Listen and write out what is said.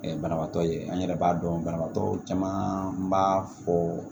banabaatɔ ye an yɛrɛ b'a dɔn banabagatɔ caman b'a fɔ